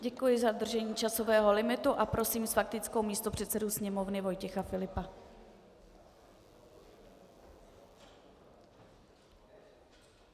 Děkuji za dodržení časového limitu a prosím s faktickou místopředsedu Sněmovny Vojtěcha Filipa.